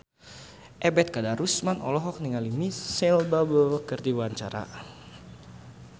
Ebet Kadarusman olohok ningali Micheal Bubble keur diwawancara